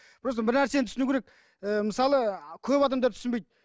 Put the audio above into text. просто бір нәрсені түсіну керек ііі мысалы көп адамдар түсінбейді